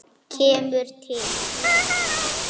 Kemur til hans.